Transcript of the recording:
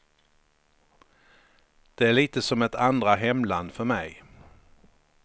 Det är lite som ett andra hemland för mig.